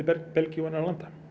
Belgíu og annarra landa